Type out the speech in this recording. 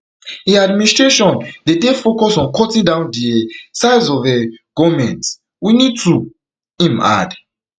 im administration dey dey focus on cutting down di um size of um goment we need to im add